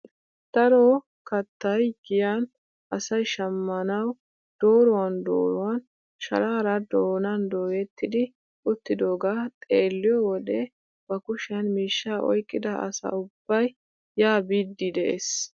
Daro kaattay giyaan asay shammanwu dooruwan dooruwaan sharaara doonan doyetti uttidogaa xeelliyoo wode ba kushiyaan miishshaa oyqqida asa ubbay yaa biidi de'ees!